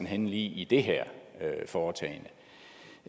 henne i det her foretagende